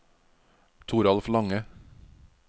Toralf Lange